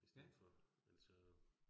I stedet for altså